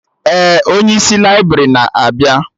Ee, onye isi laibrị na-abịa